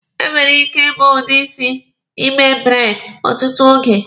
E nwere ike ibu udi isi igbe braidi ọtụtụ oge.